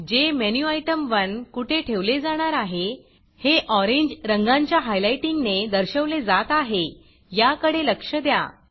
जेमेन्युटेम1 कुठे ठेवले जाणार आहे हे ऑरेंज रंगाच्या हायलाईटिंगने दर्शवले जात आहे याकडे लक्ष द्या